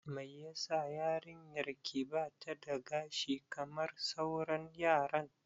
Mai yasa yarinyar ki bata da gashi kamar sauran yaran?